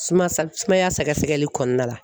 Sumaya sa sumaya sɛgɛsɛgɛli kɔnɔna la